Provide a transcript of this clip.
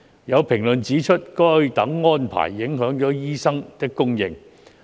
有評論指出，該等安排影響了醫生的供應。